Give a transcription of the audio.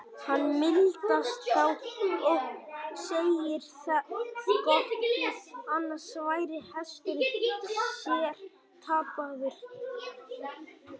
Hann mildast þá og segir það gott, því annars væri hesturinn sér tapaður.